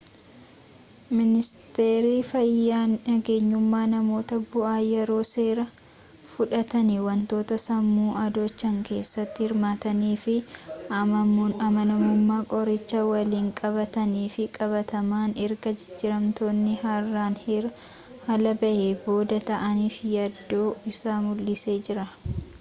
miniisteerri fayyaa nagenyummaa namoota bu'aa yeroo seeraa fudhatani wantoota sammuu adoochan keessatti hirmaatanii fi amanamummaa qoricha waliin walqabtan fi qabataman erga jijjiiramootni haaraan heeraa-alaa bahee booda ta'aniif yaaddoo isaa mul'isee jira